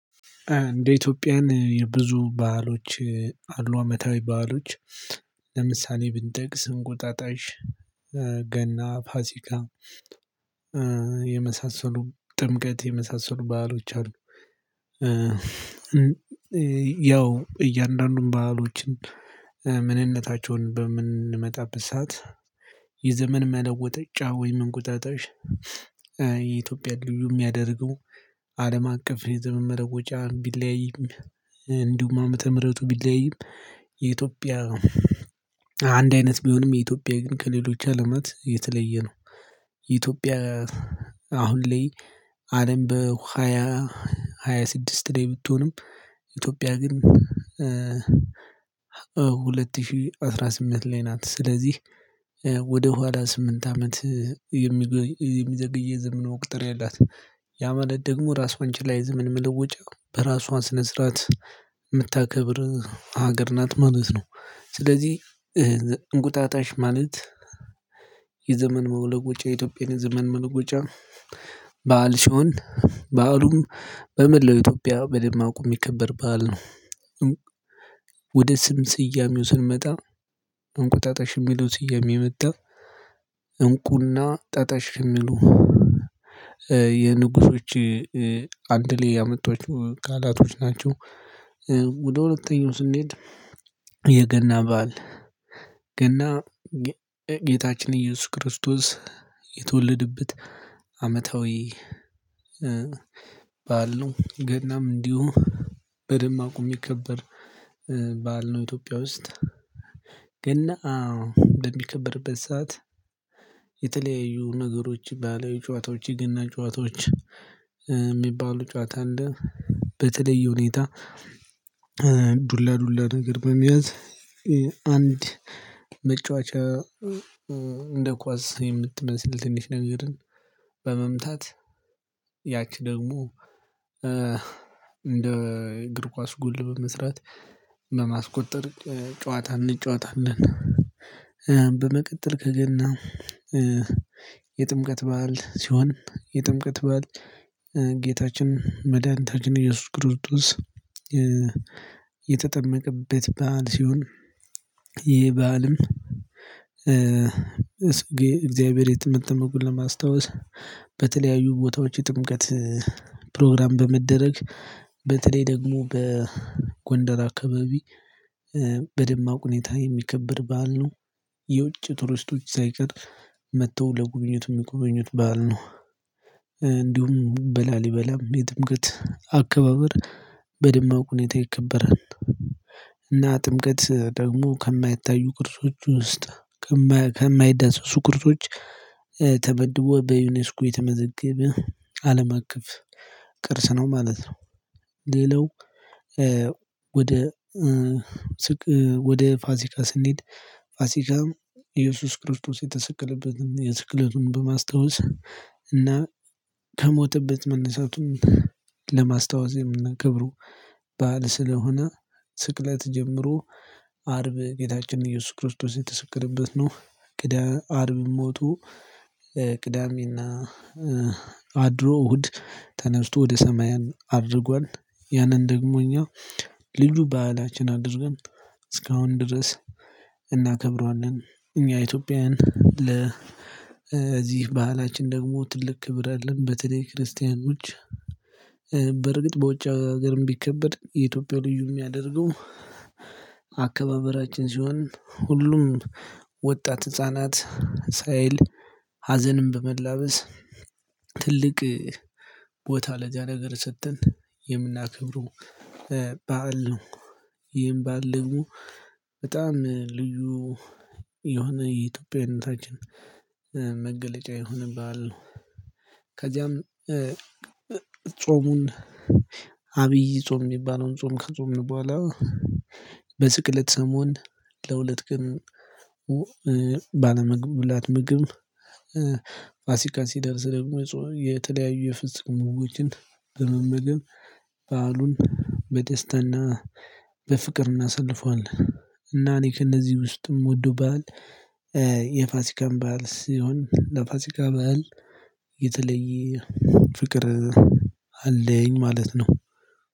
እንደ ኢትዮጵያውያን የብዙ በዓሎች አሉ አመታዊ በዓሎች ለምሳሌ ብንጠቅስ እንቁጣጣሽ ገና ፋሲካ የመሳሰሉ ጥምቀት የመሳሰሉ ባህሎች አሉ። ያው እያንዳንዱን በአሎችን ምንነታቸውን በምንመጣበት ሰዓት የዘመን መለወጫ ወይም እንቁጣጣሽ የኢትዮጵያ ልዩ የሚያደርገው አለም አቀፍ የዘመነ መለወጫ ቢለያይም እንዲሁም ዓመተ ምህረቱ ቢለያይም የኢትዮጵያ አንድ አይነት ቢሆንም የኢትዮጵያ ግን ከሌሎች አለማት የተለየ ነው። ኢትዮጵያ አሁን ላይ አለም በሃያ ሃያ ስድስት ላይ ብትሆንም ኢትዮጵያ ግን ሁለት ሺህ አስራ ስምንት ላይ ናት። ስለዚህ ወደ ኋላ ስምንት አመት የሚዘገይ የዘመን መቁጠርያ አላት። ያ ማለት ደግሞ ራሷን ችላ የዘመን መለወጫ በራሷ ስነ ስርዓት የምታከብር ሀገር ናት ማለት ነው። ስለዚህ እንቁጣጣሽ ማለት የዘመን መለወጫ የኢትዮጵያ ዘመን መውለጫ በዓል ሲሆን በአሉም በመላው ኢትዮጵያ በደማቁ የሚከበር በዓል ነው። ወደ ስም ስያሜው ስንመጣ እንቁጣጣሽ የሚለው ስያሜ የመጣው እንቁና ጣጣሽ የሚሉ የንጉሶች አንድ ላይ ያመጧቸው ቃላቶች ናቸው። ወደ ሁለተኛው ስንሄድ የገና በዓል ገና ጌታችን ኢየሱስ ክርስቶስ የተወለደበት አመታዊ በዓል ነው ገናም እንዲሁ በደማቁ የሚከበር በዓል ነው። ኢትዮጵያ ውስጥ ገና በሚከብርበት ሰዓት የተለያዩ ነገሮች ባህላዊ ጨዋታዎች የገና ጨዋታዎች የሚባሉ ጨዋታ አለ። በተለይ ሁኔታ ዱላ ዱላ ነገር በመያዝ አንድ መጫወቻ እንደ ኳስ የምትመስል ትንሽ ነገርን በመምታት ያቺ ደግሞ እንደ እግር ኳስ ጉል በመስራት እና በማስቆጠር ጨዋታ እንጨዋታለን። በመቀጠል ከገና የጥምቀት በዓል ሲሆን የጥምቀት በዓል ጌታችን መድኃኒታችን ኢየሱስ ክርስቶስ የተጠመቀበት በዓል ሲሆን ይህ በዓልም እግዚአብሔር የጥምቀቱን ለማስታወስ በተለያዩ ቦታዎች የጥምቀት ፕሮግራም በመደረግ በተለይ ደግሞ በጎንደር አካባቢ በደማቁ ሁኔታ የሚከብር በዓል ነው። የውጭ ቱሪስቶች ሳይቀር መጥተው ለጉብኝት የሚጎበኙት በዓል ነው። እንዲሁም በላሊበላም የትምቀት አካባበር በደማቁ ሁኔታ ይከበራል እና ጥምቀት ደግሞ ከማይታዩ ቅርሶች ውስጥ ከማይዳሰሱ ቅርሶች ተመድቦ በዩኔስኮ የተመዘገበ አለምአቀፍ ቅርስ ነው ማለት ነው። ሌላው ወደ ወደ ፋሲካ ስንሄድ ፋሲካም ኢየሱስ ክርስቶስ የተሰቀለበትን የስቅለቱን በማስታወስ እና ከሞተበት መነሳቱን ለማስታወስ የምናከብረው በዓል ስለሆነ ስቅለት ጀምሮ አርብ ጌታችን ኢየሱስ ክርስቶስ የተሰቀለበት ነው ቅዳ አርብ ሞቶ ቅዳሜና አድሮ እሁድ ተነስቶ ወደ ሰማያን አርጓል ያንን ደግሞ እኛ ልዩ ባህላችን አድርጎን እስካሁን ድረስ እናክብረዋለን። እኛ ኢትዮጵያውያን ለ እዚህ በአላችን ደግሞ ትልቅ ክብር አለን በተለይ ክርስቲያኖች በርግጥ በውጭ ሀገርም ቢከበድ የኢትዮጵያ ልዩ የሚያደርገው አካባበራችን ሲሆን ሁሉም ወጣት ህፃናት ሳይል ሀዘንን በመላበስ ትልቅ ቦታ ለዚያ ነገር ሰጥተን የምናከብረው በዓል ነው። ይህም በዓል ደግሞ በጣም ልዩ የሆነ የኢትዮጵያዊነታችን መገለጫ የሆነ በዓል ነው። ከዚያም ጾሙን አብይ ጾም የሚባለውን ጾም ከጾምን በኋላ በስቅለት ሰሞን ለሁለት ቀን ባለመብላት ምግብ ፋሲካ ሲደርስ ደግሞ የተለያዩ የፍስክ ምግቦችን በመመገብ በዓሉን በደስታና በፍቅር እናሳልፈዋለን። እና እኔ ከእነዚህ ውስጥ የምወደው በዓል የፋሲካም በዓል ሲሆን ለፋሲካ በዓል የተለየ ፍቅር አለኝ ማለት ነው።